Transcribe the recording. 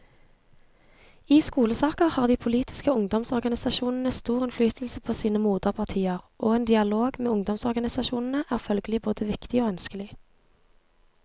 I skolesaker har de politiske ungdomsorganisasjonene stor innflytelse på sine moderpartier, og en dialog med ungdomsorganisasjonene er følgelig både viktig og ønskelig.